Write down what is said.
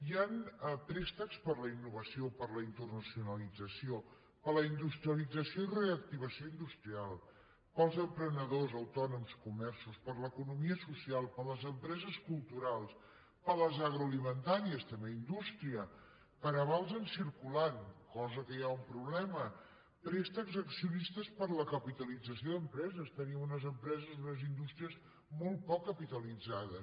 hi han préstecs per a la innovació per a la internacionalització per a la industrialització i reactivació industrials per als emprenedors autònoms comerços per a l’economia social per a les empreses culturals per a les agroalimentàries també indústria per a avals en circulant cosa en què hi ha un problema préstecs a accionistes per a la capitalització d’empreses tenim unes empreses unes indústries molt poc capitalitzades